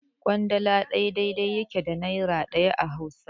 Ƙwandala ɗaya daidai yake da nera ɗaya a Hausa.